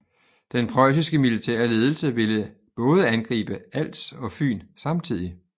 Den preussiske militære ledelse ville både angribe Als og Fyn samtidig